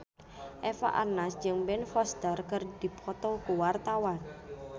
Eva Arnaz jeung Ben Foster keur dipoto ku wartawan